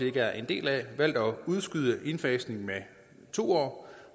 ikke er en del af valgt at udskyde indfasningen med to år